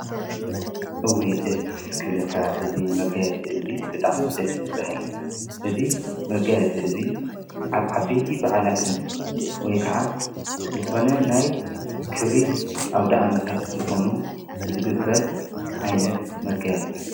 እዊ ደስ ክብለካ እዝ መጋያ ጽመጋያጺእ ብጣዕሚ ደስ በሃል እዝ መጋ ጽእ እዙይ ዓዓበቲ በዕላትን ወይ ከዓ ልኾነ ናይ ክብሪ ኣብ ደኣመታት ዝኾኑ ዝግበር ዓይነት መጋያጺእዩ።